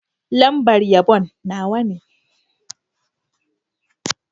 Lambar yabon Nawa ne.